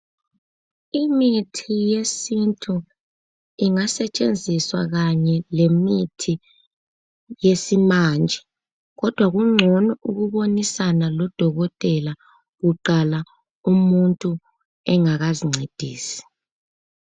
Imithi yesintu ingasetshenziswa kanye lemithi yesimanje. Kodwa kungcono ukubonisana lodokotela kuqala umuntu engakazincedisi.